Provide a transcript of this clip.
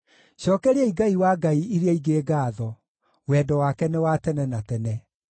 Cookeriai Ngai wa ngai iria ingĩ ngaatho. Wendo wake nĩ wa tene na tene.